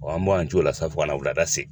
an m'an to o la sa fo ka na wulada se.